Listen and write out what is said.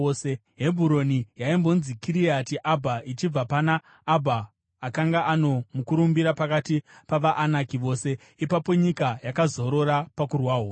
(Hebhuroni yaimbonzi Kiriati Abha ichibva pana Abha akanga ano mukurumbira pakati pavaAnaki vose.) Ipapo nyika yakazorora pakurwa hondo.